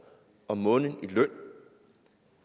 om måneden i løn